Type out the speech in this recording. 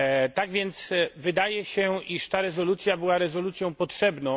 Tak więc wydaje się, iż ta rezolucja była rezolucją potrzebną.